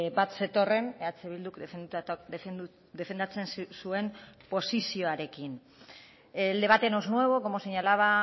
bat zetorren eh bilduk defendatzen zuen posizioarekin el debate no es nuevo como señalaba